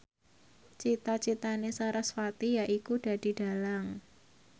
cita citane sarasvati yaiku dadi dhalang